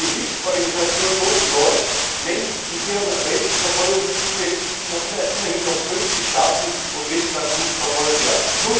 Die Hilfsorganisation nennt in ihrem Weltverfolgungsindex immerhin noch 50 Staaten, in denen Christen akut verfolgt werden.